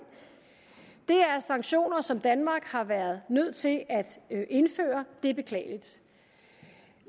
sanktioner som danmark har været nødt til at indføre det er beklageligt